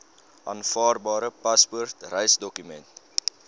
aanvaarbare paspoort reisdokument